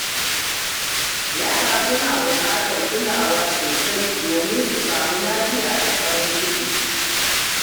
Yara suna bukatar kulawa sosai domin su samu lafiya da farin ciki.